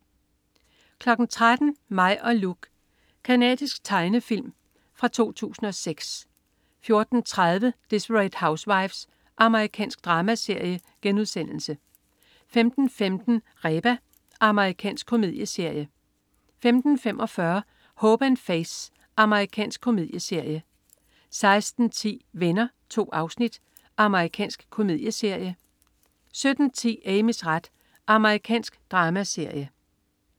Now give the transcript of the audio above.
13.00 Mig og Luke. Canadisk drama fra 2006 14.30 Desperate Housewives. Amerikansk dramaserie* 15.15 Reba. Amerikansk komedieserie 15.45 Hope & Faith. Amerikansk komedieserie 16.10 Venner. 2 afsnit. Amerikansk komedieserie 17.10 Amys ret. Amerikansk dramaserie